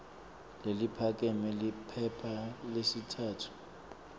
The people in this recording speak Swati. leliphakeme liphepha lesitsatfu